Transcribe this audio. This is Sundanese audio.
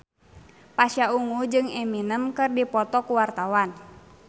Pasha Ungu jeung Eminem keur dipoto ku wartawan